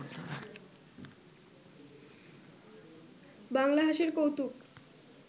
বাংলা হাসির কৌতুক